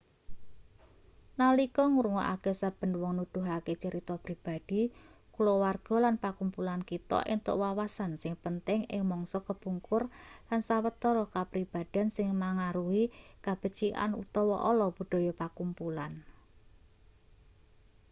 nalika ngrungokake saben wong nuduhake crita pribadi kulawarga lan pakumpulan kita entuk wawasan sing penting ing mangsa kepungkur lan sawetara kapribaden sing mangaruhi kabecikan utawa ala budaya pakumpulan